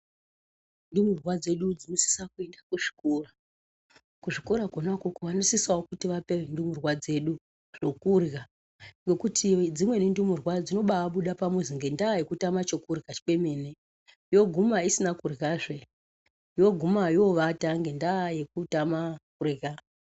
Ndumurwa dzedu dzinosisa kuenda kuzvikora kuzvikora kona ikoko vanosisavo kuti vape ndumurwa dzedu zvokurya. Ngekuti dzimweni ndumurwa dzinobabuda pamuzi ngendaa yekutama chokurya chemene yoguma isina kuryazve, yoguma yovata ngendaa yekutama kurya.